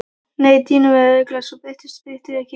Nei dýnur væru öruggari svo bytturnar brytu sig ekki.